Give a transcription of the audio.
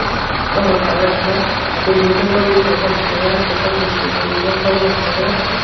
kawthow colour thega ate window kowding low ngan tega ate kamnu khaw ke gang khaw ngan tega.